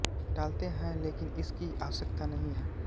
टालते है लेकिन इस की आवश्यकता नहीं है